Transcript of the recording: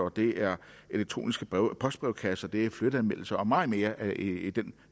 det er elektroniske postbrevkasser det er flytteanmeldelser og meget mere i den